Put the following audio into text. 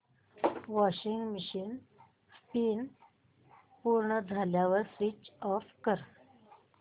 washing machine spin पूर्ण झाल्यावर switch off कर